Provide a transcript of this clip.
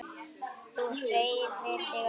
Þú hreyfir þig ekki.